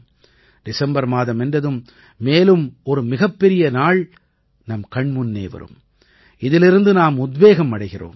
December மாதம் என்றதும் மேலும் ஒரு மிகப்பெரிய நாள் நம் கண் முன்னே வரும் இதிலிருந்து நாம் உத்வேகம் அடைகிறோம்